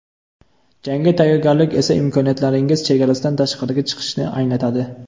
Jangga tayyorgarlik esa imkoniyatlaringiz chegarasidan tashqariga chiqishni anglatadi.